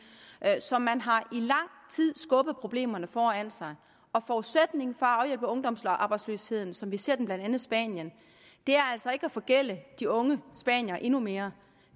så man har i lang tid skubbet problemerne foran sig og forudsætningen for at afhjælpe ungdomsarbejdsløsheden som vi ser den i blandt andet spanien er altså ikke at forgælde de unge spaniere endnu mere